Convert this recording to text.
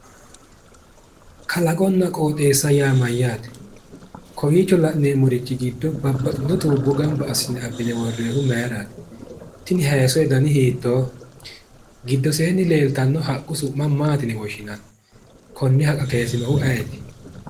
Kalaqonna qooxeessa yaa mayyaate? Kowiicho la'neemmori giddo babbaxitino dani tuubbo gamba assine worroonnihu mayiraati? Tini hayiissote dani hiittooho giddoseenni leeltanno haqqu su'ma maati yine woshshinanni? Konne haqqa kayiisinohu ayeeti?